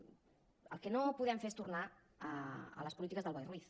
el que no podem fer és tornar a les polítiques del boi ruiz